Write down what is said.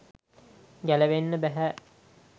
ගැලවෙන්න බැහැ.